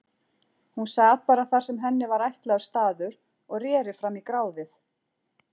Hún sat bara þar sem henni var ætlaður staður og reri fram í gráðið.